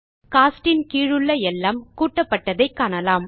cost இன் கீழுள்ள எல்லாம் கூட்டப்பட்டதை காணலாம்